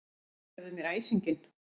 Fyrirgefðu mér æsinginn.